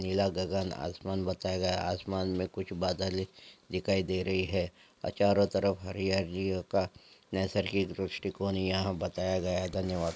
नीला गगन आसमान बताया गया है आसमान में कुछ बादल दिखाई दे रहे हैं चारों तरफ हरियाली ओ का नैसर्गिक दृष्टिकोण यहाँ बताया गया है धन्यवाद।